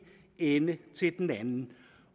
ende til den anden